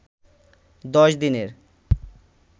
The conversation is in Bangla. ১০ দিনের